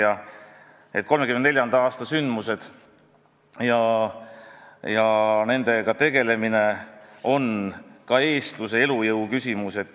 1934. aasta sündmused ja nendega tegelemine on ka eestluse elujõu küsimus.